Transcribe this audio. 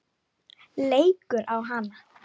Leikur á hana.